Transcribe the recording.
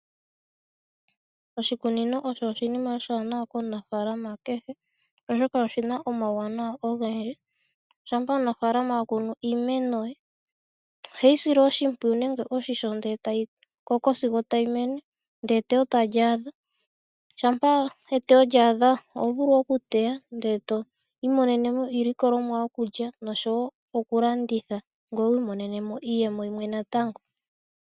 Oshikunino osho oshinima oshiwanawa komunafaalama kehe, oshoka oshi na omawuwanawa ogendji. Shampa omunafaalana akunu iimeno, ohe yi sile oshimpwuyu nenge oshisho ndele ta yi koko sigo tayi mene, ndele eteyo tali adha. Shampa eteyo lyaadha oho vulu oku teya ndele twii monenemo iilikolomwa yokulya nosho woo okulanditha, ngoye wu imonene mo iiyemo yimwe natango.